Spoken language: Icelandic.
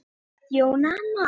Jóna amma.